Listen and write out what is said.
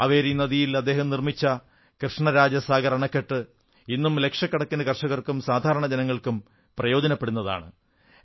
കാവേരി നദിയിൽ അദ്ദേഹം നിർമ്മിച്ച കൃഷ്ണരാജസാഗർ അണക്കെട്ട് ഇന്നും ലക്ഷക്കണക്കിന് കർഷകർക്കും സാധാരണ ജനങ്ങൾക്കും പ്രയോജപ്പെടുന്നതാണ്